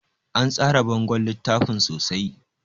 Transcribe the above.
An tsara bangon littafin sosai